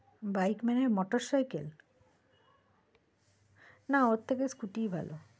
Bike মানে motorcycle? না ওর থেকে scooty ই ভালো।